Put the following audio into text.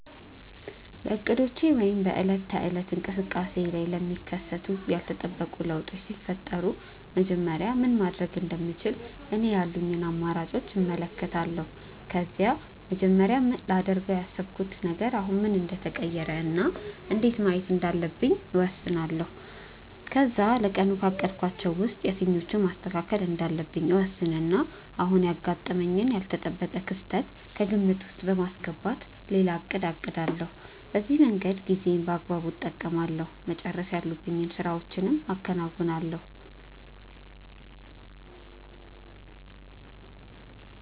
በእቅዶቼ ወይም በዕለት ተዕለት እንቅስቃሴዬ ላይ ለሚከሰቱ ያልተጠበቁ ለውጦች ሲፈጠሩ መጀመሪያ ምን ማድረግ እንደምችል እኔ ያሉኝን አማራጮች እመለከታለሁ። ከዛ መጀመሪያ ላደርገው ካሰብኩት ነገር አሁን ምን እንደተቀየረ እና እንዴት ማየት እንዳለብኝ እወስናለሁ። ከዛ ለቀኑ ካቀድኳቸው ውስጥ የትኞቹን ማስተካከል እንዳለብኝ እወስንና አሁን ያጋጠመኝን ያልተጠበቀ ክስተት ከግምት ውስጥ በማስገባት ሌላ እቅድ አቅዳለሁ። በዚህ መንገድ ጊዜዬን በአግባቡ እጠቀማለሁ፤ መጨረስ ያሉብኝን ስራዎችም አከናውናለሁ።